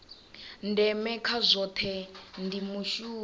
ndeme kha zwohe ndi mushumo